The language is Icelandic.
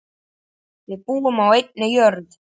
Við búum á einni jörð.